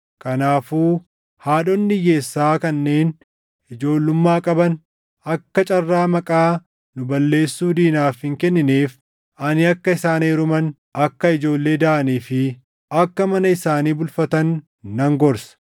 Kanaafuu haadhonni hiyyeessaa kanneen ijoollummaa qaban akka carraa maqaa nu balleessuu diinaaf hin kennineef ani akka isaan heeruman, akka ijoollee daʼanii fi akka mana isaanii bulfatan nan gorsa.